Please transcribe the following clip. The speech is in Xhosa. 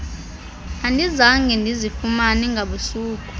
andizange ndizifumane ngabusuku